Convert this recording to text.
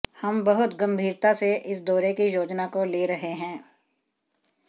हम बहुत गंभीरता से इस दौरे की योजना को ले रहे है